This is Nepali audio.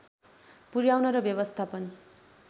पुर्‍याउन र व्यवस्थापन